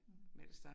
Mh